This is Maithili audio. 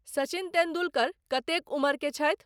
सचिन तेंडुलकर कतेक उम्र के छथि